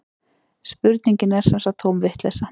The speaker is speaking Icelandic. Spurningin er sem sagt tóm vitleysa